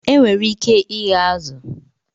Enwere ike ighe azụ̀